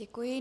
Děkuji.